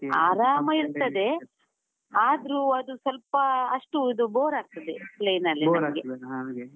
ಆರಾಮ ಇರ್ತದೆ ಆದ್ರೂ ಅದು ಸ್ವಲ್ಪ ಅಷ್ಟು ಇದು ಬೋರ್ ಆಗ್ತದೆ .